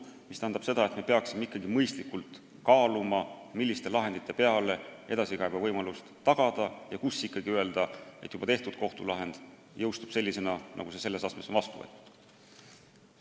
See tähendab seda, et me peaksime ikkagi mõistlikult kaaluma, milliste lahendite peale edasikaebe võimalus tagada ja milliste puhul öelda, et juba tehtud kohtulahend jõustub sellisena, nagu see selles astmes on vastu võetud.